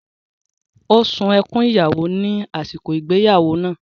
Ó sun ẹkún ìyàwó ní àsìkò ìgbéyàwó náà.